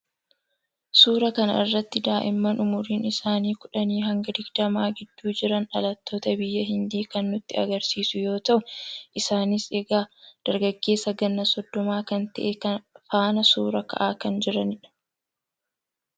suuraa kana irratti daa'imman umuriin isaanii kudhanii hanga digdamaa gidduu jiran dhalattoota biyya hindii kan nutti agarsiisu yoo ta'u ,isaanis egaa dargaggeessa ganna soddomaa kan ta'e faana suuraa ka'aa kan jiranidha.